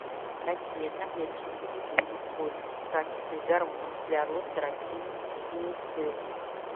какие одноклеточные грибы используются в качестве гормона для роста растений пеницилл